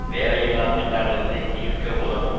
வேலையில்லா திண்டாட்டத்தை தீர்க்க உதவும்